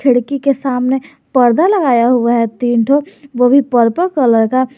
खिड़की के सामने पर्दा लगाया हुआ है तीन ठो वो भी पर्पल कलर का।